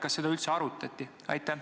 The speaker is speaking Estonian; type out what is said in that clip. Kas seda on arutatud?